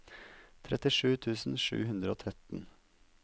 trettisju tusen sju hundre og tretten